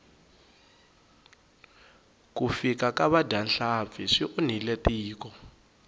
ku fika ka vadyahlampfi swi onhile tiko